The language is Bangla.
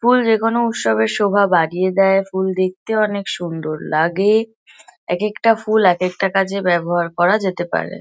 ফুল যে-কোনো উৎসবের শোভা বাড়িয়ে দেয়। ফুল দেখতে অনেক সুন্দর লাগে। এক একটা ফুল এক একটা কাজে ব্যাবহার করা যেতে পারে ।